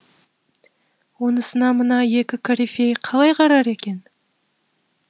онысына мына екі корифей қалай қарар екен